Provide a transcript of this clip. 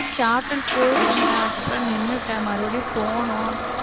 shorthand போயிட்டிருந்தேன் அதுக்கப்புறம் நின்னுட்டேன் மறுபடியும் போகணும்